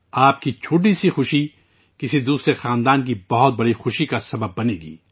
آپ کی چھوٹی سی خوشی کسی اور کے خاندان میں بڑی خوشی کا باعث بنے گی